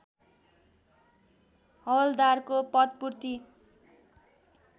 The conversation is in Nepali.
हवल्दारको पदपूर्ति